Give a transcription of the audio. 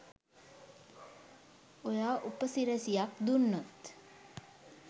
ඔයා උපසිරැසියක් දුන්නොත්